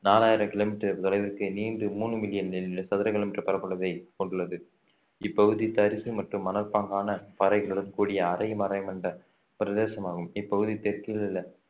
நாலாயிரம் கிலோமீட்டர் தொலைவிற்கு நீண்ட மூணு மில்லியன் சதுர கிலோமீட்டர் பரப்பளவை கொண்டுள்ளது இப்பகுதி தரிசு மற்றும் மணற்பாங்கான பாறைகளுடன் கூடிய அரை பிரதேசமாகும் இப்பகுதி தெற்கில் உள்ள